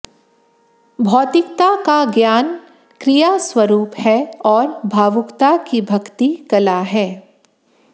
भौतिकता का ज्ञान क्रिया स्वरूप है और भावुकता की भक्ति कला है